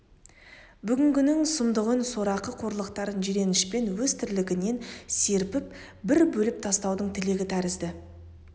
бүгіннің сұмдығын сорақы қорлықтарын жиренішпен өз тірлігінен серпіп бір бөліп тастаудың тілегі тәрізді